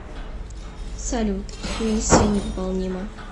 салют миссия невыполнима